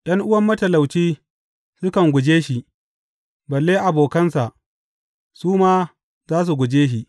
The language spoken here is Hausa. ’Yan’uwan matalauci sukan guje shi, balle abokansa, su ma za su guje shi.